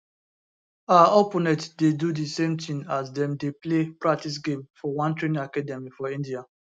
her opponent dey do di same tin as dem dey play practice game for one training academy for india